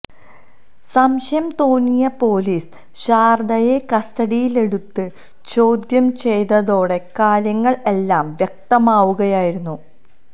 സംശയം തോന്നിയ പൊലീസ് ശാരദയെ കസ്റ്റിഡിയിലെടുത്ത് ചോദ്യംചെയ്തതോടെ കാര്യങ്ങള് എല്ലാം വ്യക്തമാവുകയായിരുന്നു